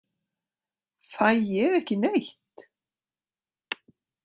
Fæ ég ekki neitt?